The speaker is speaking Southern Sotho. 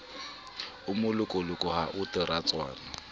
o molokoloko ha ho diratswana